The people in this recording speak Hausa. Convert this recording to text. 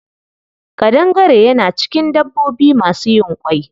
Ƙadangare yana cikin dabbobi masu yin ƙwai.